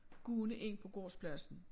Gående ind på gårdspladsen